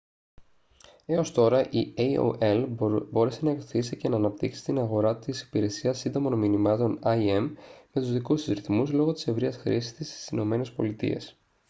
έως τώρα η aol μπόρεσε να ωθήσει και να αναπτύξει την αγορά της υπηρεσίας σύντομων μηνυμάτων im με τους δικούς της ρυθμούς λόγω της ευρείας χρήσης της στις ηνωμένες πολιτείες